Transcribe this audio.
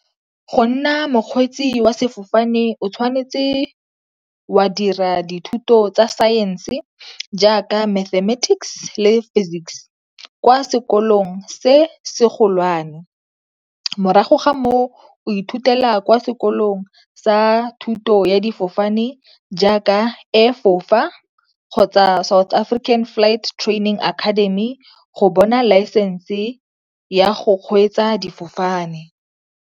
Go nna mokgweetsi wa sefofane o tshwanetse wa dira dithuto tsa saense jaaka mathematics le physics kwa sekolong se se golwane. Morago ga moo o ithutela kwa sekolong sa thuto ya difofane jaaka Air fofa kgotsa South African Flight Trainng Academy go bona laesense ya go kgweetsa difofane.